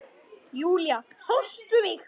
Júlía, sástu mig?